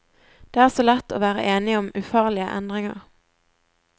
Det er så lett å være enige om ufarlige endringer.